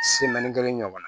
kelen ɲɔgɔn na